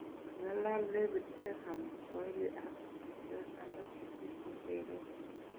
Kang'alal David Beckham Kiswahili ak kutuswek alak sisit cheteren.